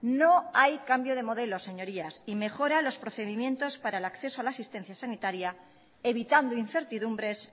no hay cambio de modelo señorías y mejora los procedimientos para el acceso a la asistencia sanitaria evitando incertidumbres